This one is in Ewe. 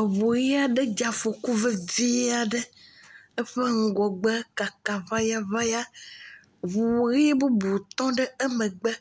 Eŋu ʋie aɖe dze afɔku vevie aɖe, eƒe ŋgɔgbe kaka ŋayaŋaya. Ŋu ʋi bubu tɔ ɖe emegbe.